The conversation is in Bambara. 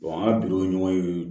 an ka ɲɔgɔn in